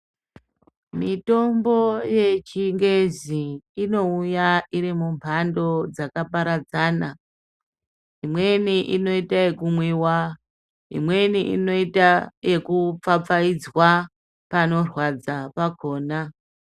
Mitombo yechingezi inouya iri mumbando dzakaparadzana. Imweni inoita yekumwiwa, imweni inoita yekupfapfaidzwa panorwadza pakona.